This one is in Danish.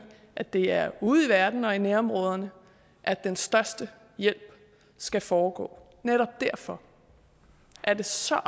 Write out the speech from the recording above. at det er ude i verden og i nærområderne at den største hjælp skal foregå netop derfor altså